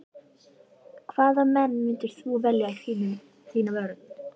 Hvaða menn myndir þú velja í þína vörn?